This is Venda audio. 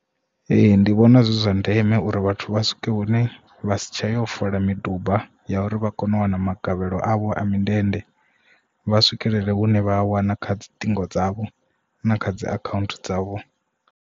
Ee ndi vhona zwi zwa ndeme uri vhathu vha swike hune vha si tsha yo fola miduba ya uri vha kone u wana magavhelo avho a mindende vha swikelele hune vha a wana kha dzi ṱhingo dzavho na kha dzi account dzavho.